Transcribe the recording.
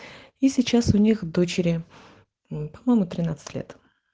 и сейчас у них дочери по-моему тринадцать лет